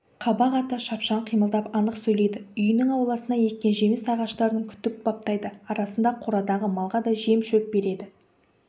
қабақ ата шапшаң қимылдап анық сөйлейді үйінің ауласына еккен жеміс ағаштарын күтіп баптайды арасында қорадағы малға да жем-шөп береді